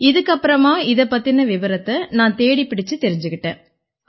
இதுக்கு அப்புறமா இதைப் பத்தின விபரத்தை நான் தேடிப் பிடிச்சுத் தெரிஞ்சுக்கிட்டேன்